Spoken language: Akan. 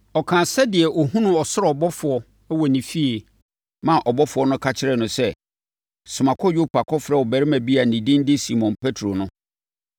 Ɔkaa sɛdeɛ ɔhunuu ɔsoro ɔbɔfoɔ wɔ ne fie maa ɔbɔfoɔ no ka kyerɛɛ no sɛ, ‘Soma kɔ Yopa kɔfrɛ ɔbarima bi a ne din de Simon Petro no.